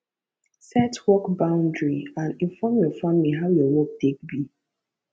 set work boundry and inform your family how your work take be